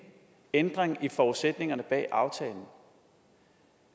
ændring i forudsætningerne bag aftalen